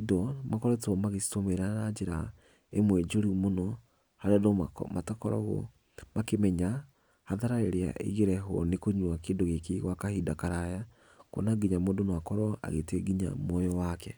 indo makoretwo magĩcitũmĩra na njĩra ĩmwe njũru mũno, harĩa andũ matakoragwo makĩmenya hathara ĩrĩa ingĩrehwo nĩ kũnywa kĩndũ gĩkĩ gwa kahinda karaya, kuona nginya mũndũ no akorwo agĩte muoyo wake.